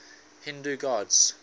hindu gods